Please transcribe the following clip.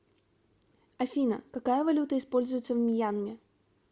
афина какая валюта используется в мьянме